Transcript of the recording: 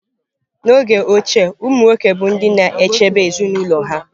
N'oge ochie, umụ nwoke bụ ndị na-echebe ezinụlọ ha.